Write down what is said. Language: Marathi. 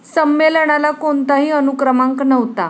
संमेलनाला कोणताही अनुक्रमांक नव्हता.